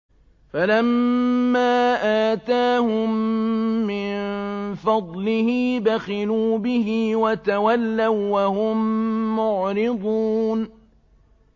فَلَمَّا آتَاهُم مِّن فَضْلِهِ بَخِلُوا بِهِ وَتَوَلَّوا وَّهُم مُّعْرِضُونَ